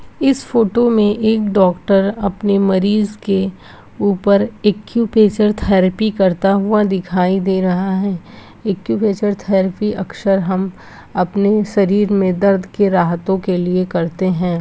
इस फोटो में एक डॉक्टर अपने मरीज के ऊपर एक्यूप्रेशर थेरेपी करता हुआ दिखी दे रहा है एक्यूप्रेशर थेरेपी अक्सर हम अपने शरीर में दर्द के राहतो के लिए करते है।